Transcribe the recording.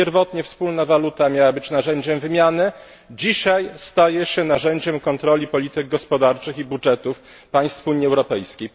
Pierwotnie wspólna waluta miała być narzędziem wymiany, dzisiaj staje się narzędziem kontroli polityk gospodarczych i budżetów państw Unii Europejskiej.